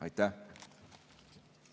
Aitäh!